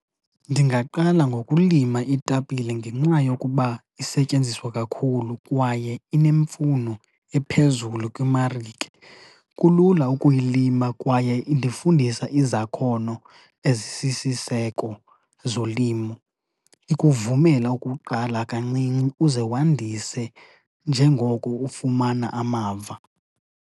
Ndingaqala ngokulima itapile ngenxa yokuba isetyenziswa kakhulu kwaye inemfuno ephezulu kwimarike. Kulula ukuyilima kwaye indifundisa izakhono ezisisiseko zolimo. Ikuvumela ukuqala kancinci uze wandise njengoko ufumana amava.